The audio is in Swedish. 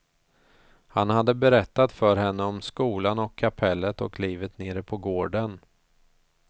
Han hade berättat för henne om skolan och kapellet och livet nere på gården.